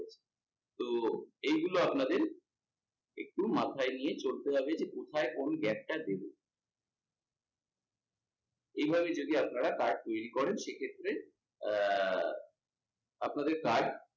তো, এইগুলো আপনাদের একটু মাথায় নিয়ে চলতে হবে যে কোথায় কোন gap টা দেব। এভাবে যদি আপনারা card তৈরী করেন সেক্ষেত্রে আহ আপনাদের card